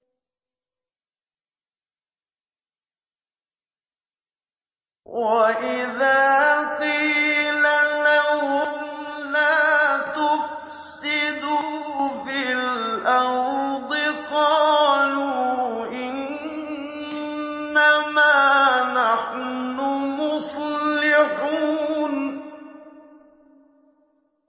وَإِذَا قِيلَ لَهُمْ لَا تُفْسِدُوا فِي الْأَرْضِ قَالُوا إِنَّمَا نَحْنُ مُصْلِحُونَ